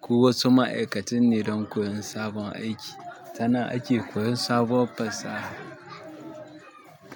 ko wasu ma'aikatun ne don koyon sabon aiki. Tanan ake koyon sabuwar fasaha.